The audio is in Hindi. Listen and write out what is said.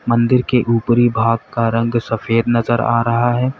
मन्दिर के ऊपरी भाग का रंग सफेद नजर आ रहा है।